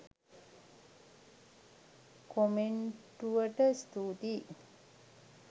කොමෙන්ටුවට ස්තූතියි.